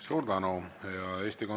Suur tänu!